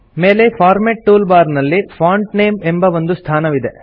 ಮೇಲೆ format tool bar ನಲ್ಲಿ font name ಎಂಬ ಒಂದು ಸ್ಥಾನವಿದೆ